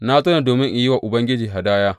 Na zo ne domin in yi wa Ubangiji hadaya.